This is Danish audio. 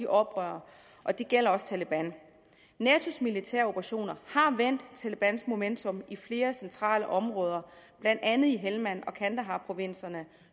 oprørerne og det gælder også taleban natos militære operationer har vendt talebans momentum i flere centrale områder blandt andet i helmand og kandaharprovinserne